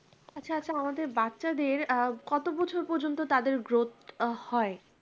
আচ্ছা আচ্ছা আমাদের বাচ্চাদের আ কত বছর পর্যন্ত তাদের growth হয়